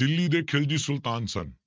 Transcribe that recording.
ਦਿੱਲੀ ਦੇ ਖਿਲਜੀ ਸੁਲਤਾਨ ਸਨ